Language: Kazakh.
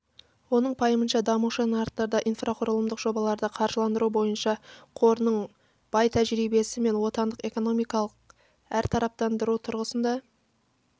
оның пайымынша дамушы нарықтарда инфрақұрылымдық жобаларды қаржыландыру бойынша қорының бай тәжірибесі мен отандық экономиканы әртарапттандыру тұрғысында